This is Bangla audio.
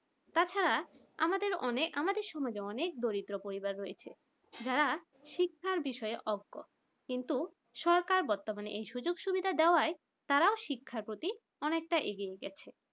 তাছাড়া আমাদের সমাজে অনেক অনেক দরিদ্র মানুষ। পরিবার রয়েছে যারা শিক্ষার বিষয়ে অজ্ঞ সরকার বর্তমানে এই সুযোগ সুবিধা দেওয়ায় তারা শিক্ষার প্রতি অনেকটা এগিয়ে গেছে।